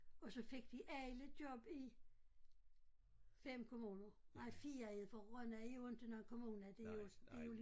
Og så fik de alle job i 5 kommuner nej 4 for Rønne er jo inte nogen kommune det jo det jo